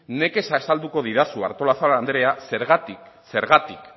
nekez azalduko didazu artolazabal andrea zergatik zergatik